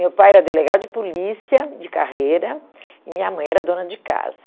meu pai era delegado de polícia de carreira e minha mãe era dona de casa